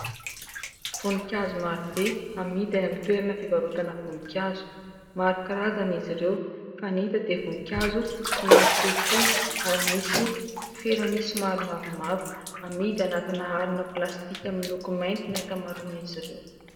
Voninkazo maro be amidy any amin'ny toerana fivarotana voninkazo. Maro karazany izy ireo fa ny hita dia voninkazo somary fohifohy ary misy felany somary mavomavo. Amidy anatina harona plastika miloko mainty ny ankamaroany izy ireo.